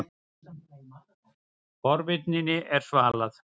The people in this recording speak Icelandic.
Forvitninni var svalað.